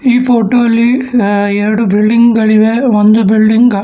ಈ ಫೋಟೋ ಅಲ್ಲಿ ಆ ಎರಡು ಬಿಲ್ಡಿಂಗ್ ಗಳಿವೆ ಒಂದು ಬಿಲ್ಡಿಂಗ್ --